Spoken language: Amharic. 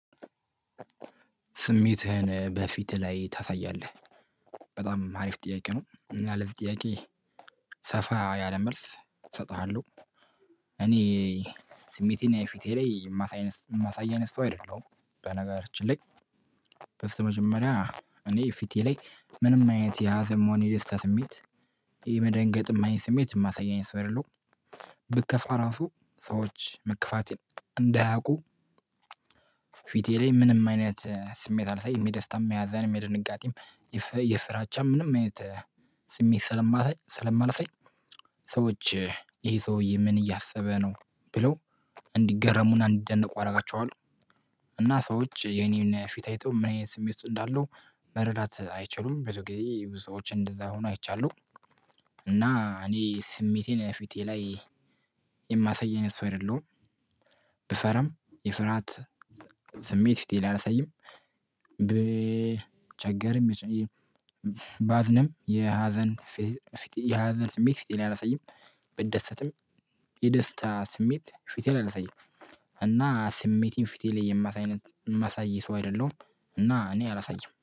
ስሜትህን በፊትህ ላይ ታሳያለህ? በጣም አሪፍ ጥያቄ ነው እና ለዚህ ጥያቄ ሰፋ ያለ መልስ እሰጥሃለሁ። እኔ ስሜቴና የፊቴ ላይ የማሳይ የማሳይ አይነት ሰው አይደለሁም። በነገራችን ላይ በስተመጀመሪያ እኔ ፊቴ ላይ ምንም አይነት የሀዘን መሆን የደስታ ስሜት። የመደንገጥ አይነት ስሜት የማሳየኝ አይነት ሰው አይደለሁም። ብከፋ ራሱ ሰዎች መከፋቴን እንዳያውቁ ፊቴ ላይ ምንም አይነት ስሜት አላሳይም። የደስታም ያዛንም የድንጋጤም የፍራቻም ምንም አይነት ስሜት ስለማላሳይ ስለማላሰይ። ሰዎች ይሄ ሰውዬ ምን እያሰበ ነው ብለው እንዲገረሙን አንድ እንዲደነቁ አደርጋቸዋለሁ። እና ሰዎች የኔን ፊት አይተው ምን አይነት ስሜት ውስጥ እንዳለው መረዳት አይችሉም። ቡዙ ጊዜ ቡዙ ሰዎች እንደዛ ሆኖ አይቻለሁ። እና እኔ ስሜቴን ፊቴ ላይ የማሳየኝ አይነት ሰው አይደለሁም። ብፈራም የፍርሃት ስሜት ፊቴ ላይ አላሳይም። ብቸገርም ባዝንም የሀዘን ያዘን ስሜት ፊት ላይ አላሳይም። ብደሰትም የደስታ ስሜት ፊቴ ላይንዠ አላሳይም። እና ስሜቴን ፊቴ ላይ የማሳይነት የማሳይ ሰው አይደለሁም እና እኔ አላሳይም